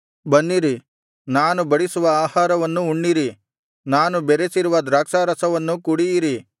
ಬನ್ನಿರಿ ನಾನು ಬಡಿಸುವ ಆಹಾರವನ್ನು ಉಣ್ಣಿರಿ ನಾನು ಬೆರೆಸಿರುವ ದ್ರಾಕ್ಷಾರಸವನ್ನು ಕುಡಿಯಿರಿ